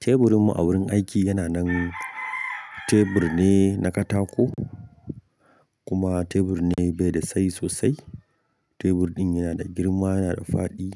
Teburinmu a wurin aiki yana nan tebur ne na katako, kuma tebur ne bai da tsayi sosai. Tebur ɗin yana da girma yana da faɗi.